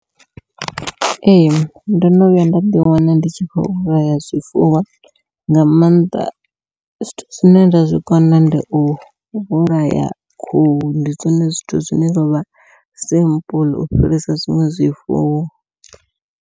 Ee ndo no vhuya nda ḓi wana ndi tshi khou vhulaya zwifuwo nga maanḓa zwithu zwine nda zwikona ndi u vhulaya khuhu ndi zwone zwithu zwine zwavha simple u fhirisa zwiṅwe zwifuwo.